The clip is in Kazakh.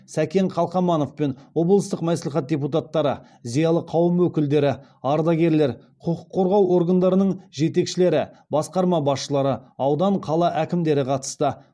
сәкен қалқаманов пен облыстық мәслихат депутаттары зиялы қауым өкілдері ардагерлер құқық қорғау органдарының жетекшілері басқарма басшылары аудан қала әкімдері қатысты